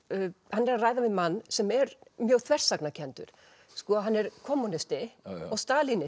hann er að ræða við mann sem er mjög þversagnakenndur hann er kommúnisti og